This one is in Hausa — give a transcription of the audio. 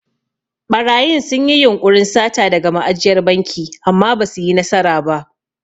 Ɓarayin sun yi yunƙurin sata daga ma'ajiyar banki amma basu yi nasara ba.